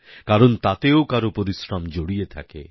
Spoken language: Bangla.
কারণ তাতেও কারো পরিশ্রম জড়িয়ে থাকে